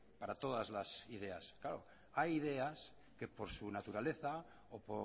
para todas las ideas claro hay ideas que por su naturaleza o